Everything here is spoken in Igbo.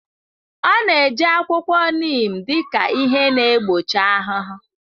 Ọ na-eji akwụkwọ neem dị ka ihe na-egbochi ahụhụ.